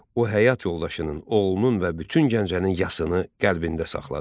O, həyat yoldaşının, oğlunun və bütün Gəncənin yasını qəlbində saxladı.